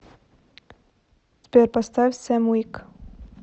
сбер поставь сэм уик